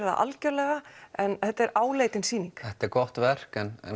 það algjörlega en þetta er áleitin sýning þetta er gott verk en